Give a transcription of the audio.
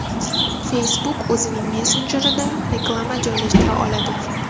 Facebook o‘zining messenjerida reklama joylashtira boshladi.